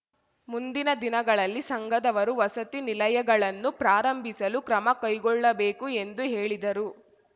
ಮುಂದಿನ ದಿನಗಳಲ್ಲಿ ಸಂಘದವರು ವಸತಿ ನಿಲಯಗಳನ್ನು ಪ್ರಾರಂಭಿಸಲು ಕ್ರಮ ಕೈಗೊಳ್ಳಬೇಕು ಎಂದು ಹೇಳಿದರು